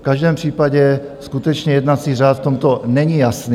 V každém případě, skutečně jednací řád v tomto není jasný.